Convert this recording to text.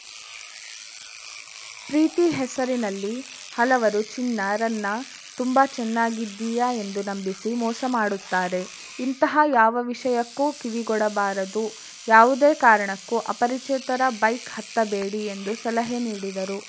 ಪ್ರೀತಿ ಹೆಸರಿನಲ್ಲಿ ಹಲವರು ಚಿನ್ನ ರನ್ನ ತುಂಬಾ ಚೆನ್ನಾಗಿದ್ದೀಯ ಎಂದು ನಂಬಿಸಿ ಮೋಸ ಮಾಡುತ್ತಾರೆ ಇಂತಹ ಯಾವ ವಿಷಯಕ್ಕೂ ಕಿವಿಕೊಡಬಾರದು ಯಾವುದೇ ಕಾರಣಕ್ಕೂ ಅಪರಿಚಿತರ ಬೈಕ್‌ ಹತ್ತಬೇಡಿ ಎಂದು ಸಲಹೆ ನೀಡಿದರು